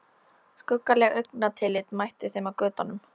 Skuggaleg augnatillit mættu þeim á götunum.